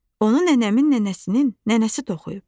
Onu nənəmin nənəsinin nənəsi toxuyub.